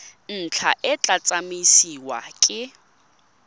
ntlha e tla tsamaisiwa ke